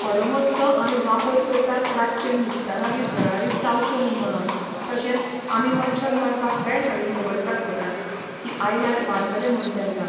ऑडोमाॅसचो आमी वापर करतात रातचें न्हिदताना बी जळारी चावच्यो न्ही म्हणोन तशेंच आमी मच्छर मारपाक बॅट हाडून दवरतात घरांत की आयल्यार मारतले म्हूण तेंकां